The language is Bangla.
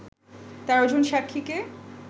১৩ জন সাক্ষীকে